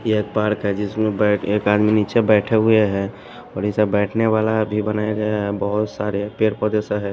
ये एक पार्क हैजिसमें बैठ एक आदमी नीचे बैठे हुए हैंऔर इससे बैठने वाला भी बनाया गया हैबहुत सारे पेड़ पौधेसा है।